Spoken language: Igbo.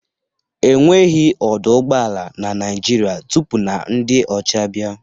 Enweghị ọdọ ụgbọala na Naịjirịa tupu na ndị ọcha abịa